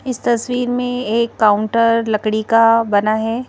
इस तस्वीर में एक काउंटर लकड़ी का बना है।